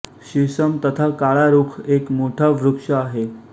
शिसम तथा काळा रूख एक मोठा वृक्ष आहे